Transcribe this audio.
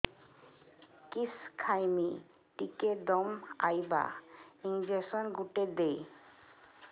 କିସ ଖାଇମି ଟିକେ ଦମ୍ଭ ଆଇବ ଇଞ୍ଜେକସନ ଗୁଟେ ଦେ